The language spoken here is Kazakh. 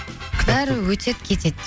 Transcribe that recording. бәрі өтеді кетеді